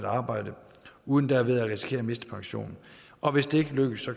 arbejde uden derved at risikere at miste pensionen og hvis det ikke lykkes